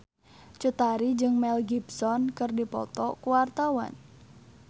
Cut Tari jeung Mel Gibson keur dipoto ku wartawan